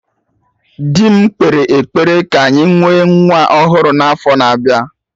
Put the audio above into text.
Dị m kpere ekpere ka anyị nwee nwa ọhụrụ na afo na-abịa